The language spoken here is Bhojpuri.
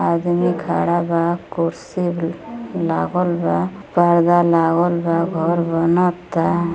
आदमी खड़ा बा। कुर्सी लागल बा। पर्दा लागल बा। घर बनता।